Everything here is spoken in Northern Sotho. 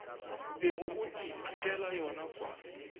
bego o ithutela yona kua